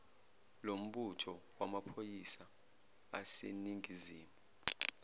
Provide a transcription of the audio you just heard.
lombutho wamaphoyisa aseningizimu